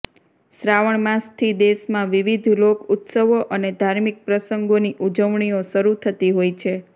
શ્રાવણ માસથી દેશમાં વિવિધ લોક ઉત્સવો અને ધાર્મિક પ્રસંગોની ઉજવણીઓ શરૂ થતી હોય છે